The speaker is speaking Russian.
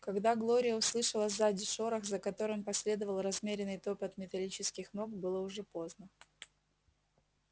когда глория услышала сзади шорох за которым последовал размеренный топот металлических ног было уже поздно